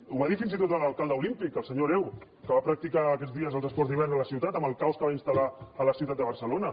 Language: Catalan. ho va dir fins i tot l’alcalde olímpic el senyor hereu que va practicar aquests dies els esports d’hivern a la ciutat amb el caos que va installar a la ciutat de barcelona